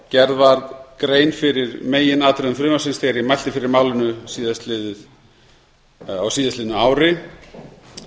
gerð varð grein fyrir meginatriðum frumvarpsins þegar ég mælti fyrir málinu á síðasta ári